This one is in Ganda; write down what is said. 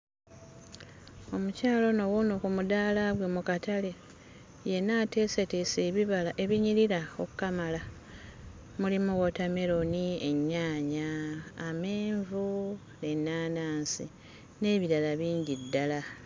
Omukyala ono wuuno ku mudaala gwe mu katale. Yenna ateeseteese ebibala ebinyirira okkamala. Mulimu wootameroni, ennyaanya, amenvu, ennaanansi n'ebirala bingi ddala.